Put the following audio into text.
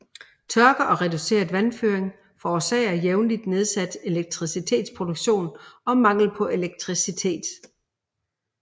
Tørke og reduceret vandføring forårsager jævnlig nedsat elektricitetsproduktion og mangel på elektricitet